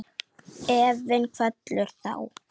Efinn kvelur þá.